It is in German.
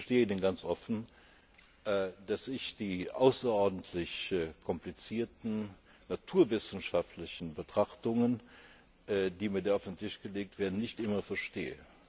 Ich gestehe Ihnen ganz offen, dass ich die außerordentlich komplizierten naturwissenschaftlichen Betrachtungen, die mir da auf den Tisch gelegt werden, nicht immer verstehe.